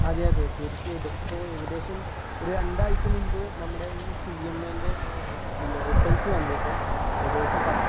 അതെ അതെ തീർച്ചയായിട്ടും ഇപ്പൊ ഏകദേശം ഒരു രണ്ടാഴ്ച മുമ്പ് നമ്മുടെ ഒരു CMA ൻ്റെ ഒരു പിന്നെ result വന്നിരുന്നു ഏകദേശം പത്ത്